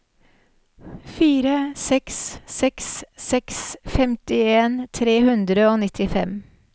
fire seks seks seks femtien tre hundre og nittifem